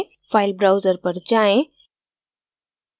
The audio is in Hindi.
file browser पर जाएँ